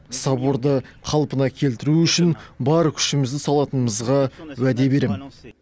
соборды қалпына келтіру үшін бар күшімізді салатынымызға уәде беремін